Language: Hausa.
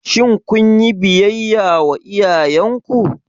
Shin kun yi biyayya ga iyayenku?